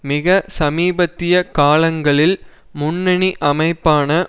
மிக சமீபத்திய காலங்களில் முன்னணி அமைப்பான